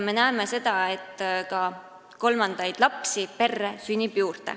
Me näeme, et peredesse sünnib juurde ka kolmandaid lapsi.